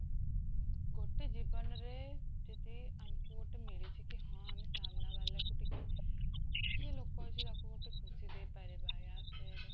ଗୋଟେ ଜୀବନରେ ଯଦି ଆମକୁ ଗୋଟେ ମିଳିଛି କି ହଁ ଆମେ ସାମ୍ନା ବାଳକୁ ଟିକେ, ଯିଏ ଲୋକ ଅଛି ତାକୁ ମୁଁ ଟିକେ ଖୁସି ଦେଇ ପାରିବା